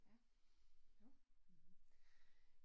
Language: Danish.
Ja, jo, mh